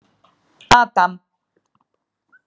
Adam